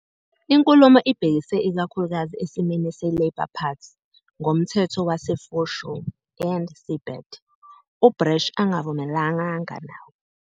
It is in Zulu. Inkulumo ibhekise ikakhulukazi esimeni seLabour Party ngoMthetho Wase- Foreshore and Seabed, uBrash angavumelananga nawo.